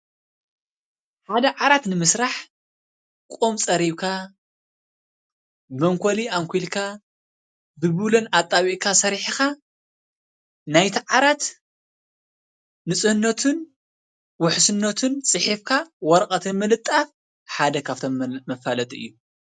ሓደ ዓራት ንምስራሕ ኦም ፀሪብካ ።፣መንኮሊ ኣንኪልካ ፣ ብብሎም ኣጣቢብካ ሰሪሕኻ ናይቲ ዓራት ንፅሁነቱን ውሕስነቱን ፂሒፍካ ወረቀትን ምልጣፍ ሓደ መፋለጢ እዩ።